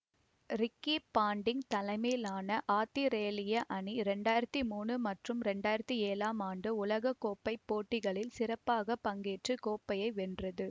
Ricky Ponting தலைமையிலான ஆத்திரேலிய அணி இரண்டாயிரத்தி மூனு மற்றும் இரண்டாயிரத்தி ஏழாம் ஆண்டு உலக கோப்பை போட்டிகளில் சிறப்பாக பங்கேற்று கோப்பையை வென்றது